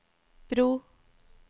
bro